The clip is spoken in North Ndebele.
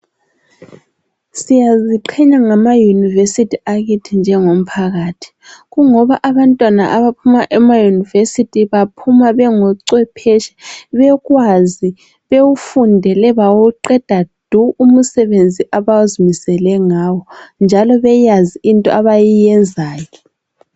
Siyaziqhenya ngamayunivesithi akithi njengomphakathi, kungoba abantwana abaphuma emayunivesithi baphuma bengochwepheshe. Bekwazi, bewufundele bawuqeda du umsebenzi abazimisele ngawo, njalo beyazi into abayenzayo.